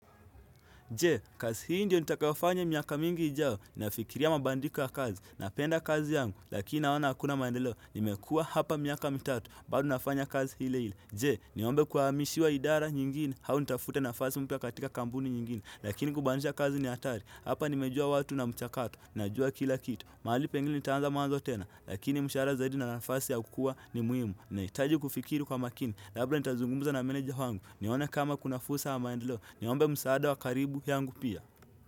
Je, kazi hii ndiyo nitakayofanya miaka mingi ijao, nafikiria mabadiliko ya kazi, napenda kazi yangu, lakini naona hakuna maendeleo, nimekuwa hapa miaka mitatu, bado nafanya kazi ile ile. Je, niombe kuhamishiwa idara nyingine, au nitafute nafasi mpya katika kampuni nyingine, lakini kubainisha kazi ni hatari, hapa nimejua watu na mchakato, najua kila kitu. Mahali pengine nitaanza mwanzo tena, lakini mshahara zaidi na nafasi ya kukua ni muhimu. Nahitaji kufikiri kwa makini, labla nitazungumuza na maneja wangu. Nione kama kuna fursa ya maendeleo. Niombe msaada wa karibu yangu pia.